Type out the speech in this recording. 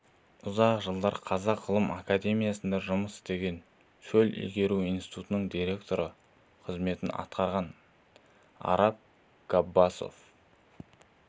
ұзақ жылдар қазақ ғылым академиясында жұмыс істеген шөл игеру институтының директоры қызметін атқарған араб ғаббасов